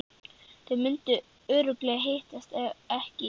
Þau mundu örugglega hittast, ef ekki í